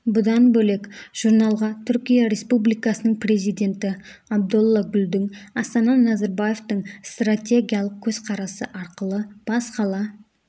бұдан бөлек журналға түркия республикасының президенті абдолла гүлдің астана назарбаевтың стратегиялық көзқарасы арқылы бас қала